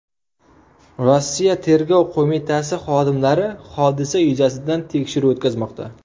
Rossiya tergov qo‘mitasi xodimlari hodisa yuzasidan tekshiruv o‘tkazmoqda.